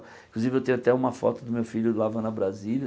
Inclusive, eu tenho até uma foto do meu filho lavando a brasilia.